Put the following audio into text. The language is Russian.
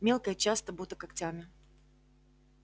мелко и часто будто когтями